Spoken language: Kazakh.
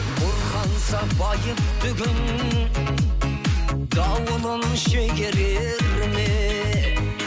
бұрқанса байыпты күн дауылын шегерер ме